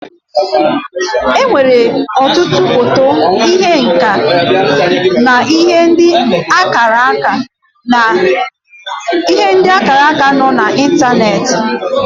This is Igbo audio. E nwere ọtụtụ foto ihe nka na ihe ndị akpara akpa nọ na ịntaneti.